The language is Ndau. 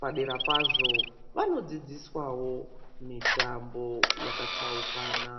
padera pazvo vanodzidziswawo mitambo yakatsaukana.